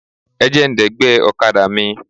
Ẹ jẹ́ ń dẹ̀gbẹ́ ọ̀kadà mi.